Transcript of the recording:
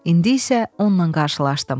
İndi isə onunla qarşılaşdım.